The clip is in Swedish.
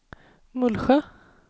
Mullsjö